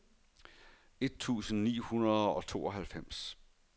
et tusind ni hundrede og tooghalvfems